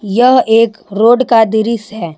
यह एक रोड का दृश्य है।